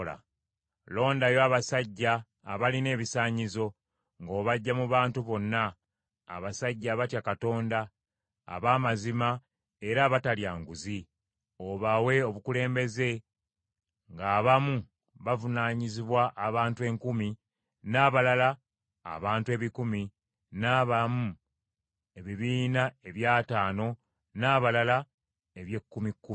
Londayo abasajja abalina ebisaanyizo, ng’obaggya mu bantu bonna, abasajja abatya Katonda, ab’amazima era abatalya nguzi; obawe obukulembeze, ng’abamu bavunaanyizibwa abantu enkumi, n’abalala abantu ebikumi, n’abamu ebibiina eby’ataano n’abalala eby’ekkumi kkumi.